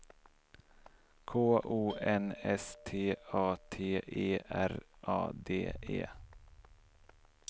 K O N S T A T E R A D E